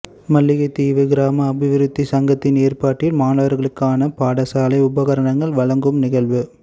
மல்லிகைத்தீவு கிராம அபிவிருத்தி சங்கத்தின் ஏற்பாட்டில் மாணவர்களுக்கான பாடசாலை உபகரணங்கள் வழங்கும் நிகழ்வு